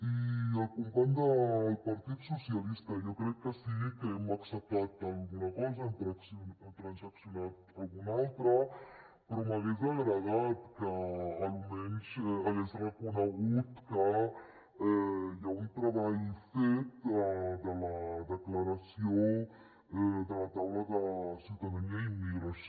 i al company del partit socialistes jo crec que sí que hem acceptat alguna cosa n’hem transaccionat alguna altra però m’hagués agradat que almenys hagués reconegut que hi ha un treball fet de la declaració de la taula de ciutadania i immigració